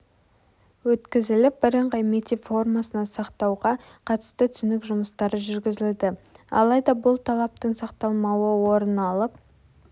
өткізіліп бірыңғай мектеп формасына сақтауға қатысты түсінік жұмыстары жүргізілді алайда бұл талаптың сақталмауы орын алып